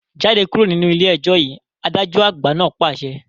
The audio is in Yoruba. Jáde kúrò nínú ilé ẹjọ́ yìí, adájọ́ àgbà náà pàṣẹ